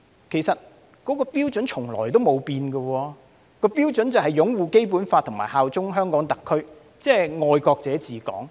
其實，標準從來沒變，也就是擁護《基本法》和效忠香港特區，即"愛國者治港"。